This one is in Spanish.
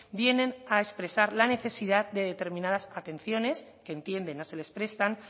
vienen a expresar la necesidad de determinadas atenciones que entienden no se les prestan